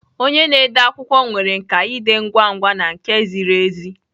Onye na-ede akwụkwọ nwere nkà iji dee ngwa ngwa na nke ziri ezi